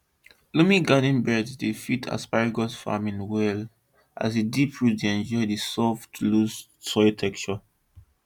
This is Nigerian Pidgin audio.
loamy garden beds dey fit asparagus farming well as di deep root dey enjoy di soft loose soil structure